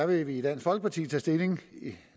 vi vil i dansk folkeparti tage stilling